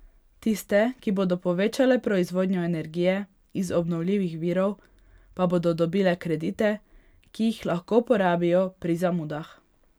Tiste, ki bodo povečale proizvodnjo energije iz obnovljivih virov, pa bodo dobile kredite, ki jih lahko porabijo pri zamudah.